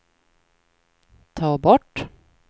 ta bort